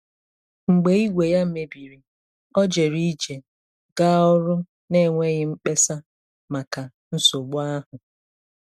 Mgbe igwe ya mebiri, ọ jere ije gaa ọrụ n'enweghị mkpesa maka nsogbu ahụ.